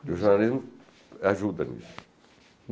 E o jornalismo ajuda nisso.